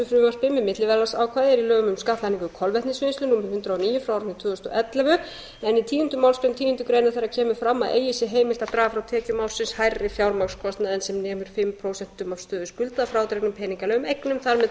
frumvarpi með milliverðlagsákvæði er í lögum um skattlagningu kolvetnisvinnslu númer hundrað og níu tvö þúsund og ellefu en í tíundu málsgrein tíundu greinar þeirra kemur fram að eigi sé heimilt að draga frá tekjum ársins hærri fjármagnskostnað en sem nemur fimm prósentum af stöðu skulda að frádregnum peningalegum eignum þar með